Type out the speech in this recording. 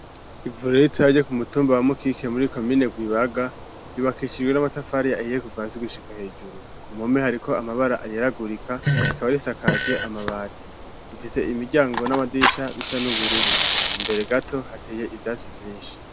Ivuro ritoya ryo k'umutumba wa mukike muri komine gwibaga, yubakishijwe n'amatafari ahiye kuva hasi gushika hejuru, ku mpome hariko amabara ayeragurika, rikaba risakaje amabati ,rifise imiryango n'amadirisha bisa n'ubururu ,imbere gato hateye ivyatsi vyinshi.